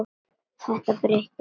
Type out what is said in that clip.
Þetta breytir engu.